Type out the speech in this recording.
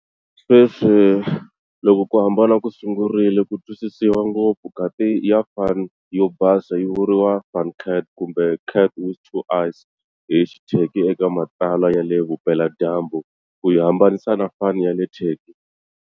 Sweswi, loko ku hambana ku sungurile ku twisisiwa ngopfu, kati ya Van yo basa yi vuriwa"Van cat" kumbe"cat with two eyes" hi Xiturkey eka matsalwa ya le Vupeladyambu, ku yi hambanisa na Van ya le Turkey.